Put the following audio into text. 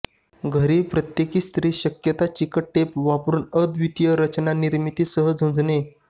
घरी प्रत्येक स्त्री शकता चिकट टेप वापरून अद्वितीय रचना निर्मिती सह झुंजणे